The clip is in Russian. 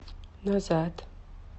назад